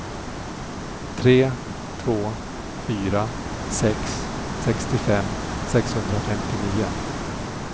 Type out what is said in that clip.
tre två fyra sex sextiofem sexhundrafemtionio